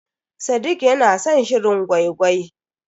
Sadiq ya na san shirin gwai-gwai.